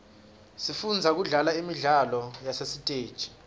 sifundza kudlala imidlalo yasesiteji